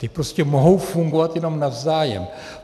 Ty prostě mohou fungovat jenom navzájem.